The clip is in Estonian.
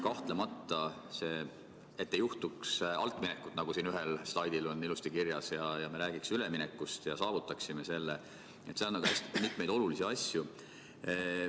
Kahtlemata, et ei juhtuks altminekut, me peame rääkima, nagu siin ühel slaidil ilusti kirjas on, üleminekust ja saavutama selle, et toimub hästi mitmeid olulisi asju.